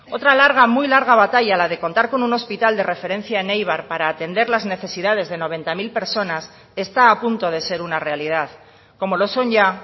otra larga muy larga batalla la de contar con un hospital de referencia en eibar para atender las necesidades de noventa mil personas está a punto de ser una realidad como lo son ya